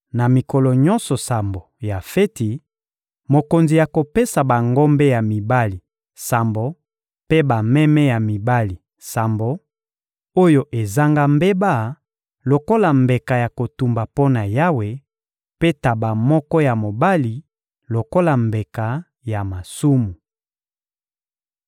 Na mikolo nyonso sambo ya feti, mokonzi akopesa bangombe ya mibali sambo mpe bameme ya mibali sambo, oyo ezanga mbeba, lokola mbeka ya kotumba mpo na Yawe, mpe ntaba moko ya mobali lokola mbeka ya masumu.